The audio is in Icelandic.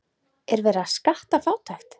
Er verið að skatta fátækt?